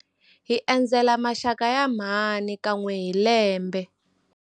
Hi endzela maxaka ya mhani kan'we hi lembe.